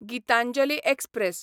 Gitanjali express